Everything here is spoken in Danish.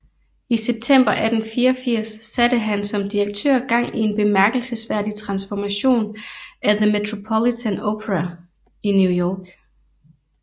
I september 1884 satte han som direktør gang i en bemærkelsesværdig transformation af The Metropolitan Opera i New York